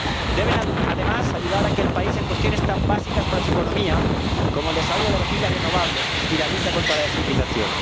Deben, además, ayudar a aquel país en cuestiones tan básicas para su economía como el desarrollo de energías renovables y la lucha contra la desertización.